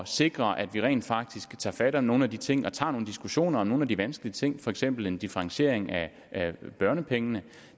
sikre at vi rent faktisk tager fat om nogle af de ting og tager nogle diskussioner om nogle af de vanskelige ting for eksempel en differentiering af børnepengene